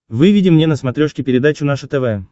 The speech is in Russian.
выведи мне на смотрешке передачу наше тв